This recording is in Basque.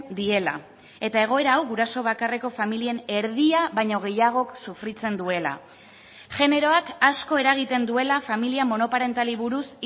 diela eta egoera hau guraso bakarreko familien erdia baino gehiagok sufritzen duela generoak asko eragiten duela familia monoparentalei buruz